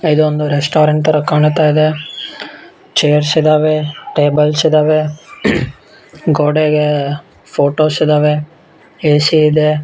ಇದೊಂದು ರೆಸ್ಟೊರೆಂಟ್ ತರ ಕಾಣ್ತಾ ಇದೆ ಚೇರ್ಸ್ ಇದ್ದಾವೆ ಟೇಬಲ್ಸ್ ಇದ್ದಾವೆ ಗೋಡೆಗೆ ಫೋಟೋಸ್ ಇದ್ದಾವೆ ಎಸಿ ಇದೆ.